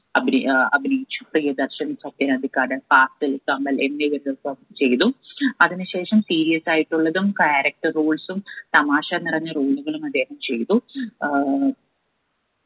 അഭിനയി ഏർ അഭിനയിച്ചു പ്രിയദർശൻ സത്യൻ അന്തിക്കാട് ഫാസിൽ കമൽ എന്നിവരുടൊപ്പം ചെയ്തു അതിന് ശേഷം serious ആയിട്ടുള്ളതും character roles ഉം തമാശ നിറഞ്ഞ role കളും അദ്ദേഹം ചെയ്തു ഏർ